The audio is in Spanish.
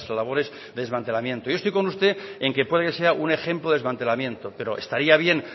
labores de desmantelamiento yo estoy con usted en que pueden ser un ejemplo de desmantelamiento pero estaría bien